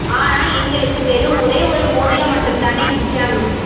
ஆனா எங்களுக்கு வெறும் ஒரே ஒரு மோதிரம் மட்டும் தானே மிச்சம்